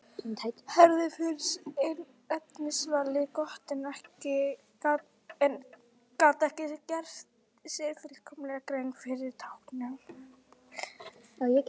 Herði finnst efnisvalið gott en gat ekki gert sér fullkomlega grein fyrir táknunum.